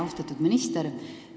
Austatud minister!